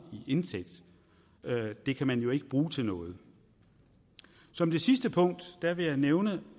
i indtægt det kan man jo ikke bruge til noget som det sidste punkt vil jeg nævne